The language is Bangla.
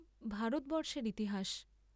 ভারতবর্ষের ইতিহাস।